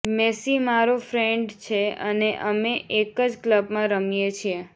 Massey મારો friend છે અને અમે એક જ ક્લબમાં રમીએ છીએ